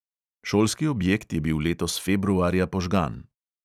Šolski objekt je bil letos februarja požgan.